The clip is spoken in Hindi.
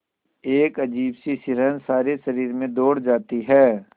एक अजीब सी सिहरन सारे शरीर में दौड़ जाती है